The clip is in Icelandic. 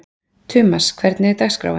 Tumas, hvernig er dagskráin?